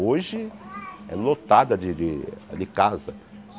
Hoje, é lotada de de de casa.